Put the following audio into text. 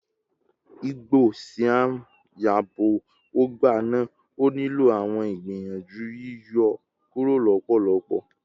igbo siam yabo ọgba naa, o nilo awọn igbiyanju yiyọ kuro lọpọlọpọ